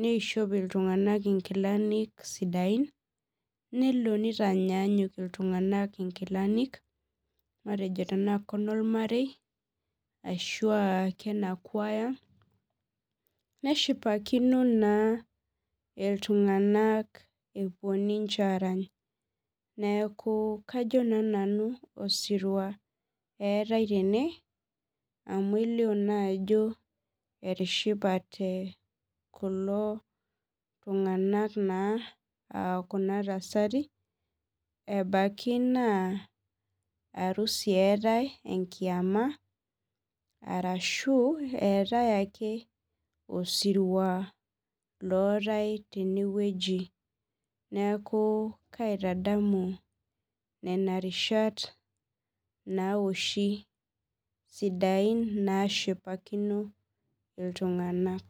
nishop iltungana ingilani sidain nelo nitanyanyuk iltungana inkilanik matejo aa inolmarei ashu aaa kenakuaya, neshipakino na iltunganak epuo ninche arany, niaku kajo na nanu osirua etae tene amu elio na ajo etishipate kulo tunganak,,na aa kuna tasati ebaki na arusi etae enkiama, arashu etae ake osirua lotae tene weuji, niaku kaitadamu nena rishat naoshi isidain nashipakino iltunganak.